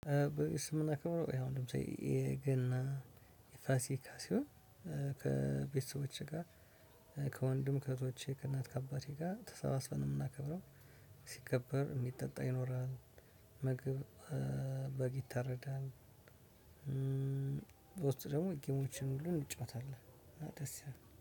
በዓል ስናከብር ያው ለምሳሌ የገና፣ የፋሲካ ሲሆን ከቤተሰቦቼ ጋር ከወንድም፣ ከእህቶቼ፣ ከእናት፣ ከአባቴ ጋር ተሰባስበን ነው የምናከብረው። ሲከበር የሚጠጣ ይኖራል። ምግብ በግ ይታረዳል። ልጆች ደግሞ ጌም ምናምን እንጫወታለን እና ደስ ይላል።